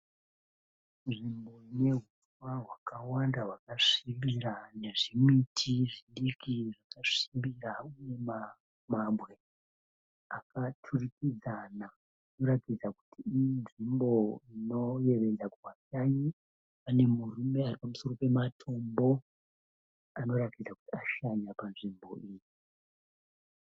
Nzvimbo inehuswa hwakawanda hwakasvibira nezvimiti zvidiki zvakasvibira uye mabwe akaturikidzana. Inoratidza kuti inzvimbo inoyevedza kuvashanyi. Pane murume aripamusoro pematombo anoratidza kuti ashanya panzvimbo iyi.